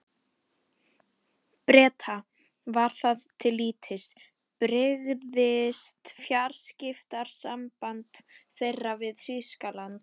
Breta, var það til lítils, brygðist fjarskiptasamband þeirra við Þýskaland.